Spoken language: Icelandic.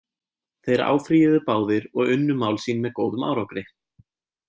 Þeir áfrýjuðu báðir og unnu mál sín með góðum árangri.